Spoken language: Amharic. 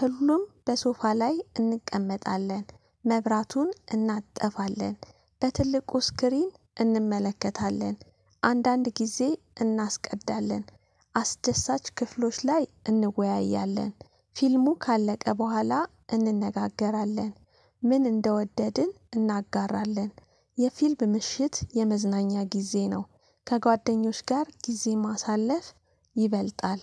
ሁሉም በሶፋ ላይ እንቀመጣለን። መብራቱን እናጠፋለን በትልቁ ስክሪን እንመለከታለን። አንዳንድ ጊዜ እናስቀዳለን። አስደሳች ክፍሎች ላይ እንወያያለን። ፊልሙ ካለቀ በኋላ እንነጋገራለን። ምን እንደወደድን እናጋራለን። የፊልም ምሽት የመዝናኛ ጊዜ ነው። ከጓደኞች ጋር ጊዜ ማሳለፍ ይበልጣል።